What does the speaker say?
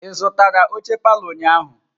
Ị zụtara oche palọ ụnyahụ?